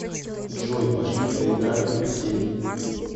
джой пошли поиграем в хоккей